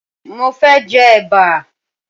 Mo fẹ́ jẹ Ẹ̀bà